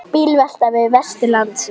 Bílvelta við Vesturlandsveg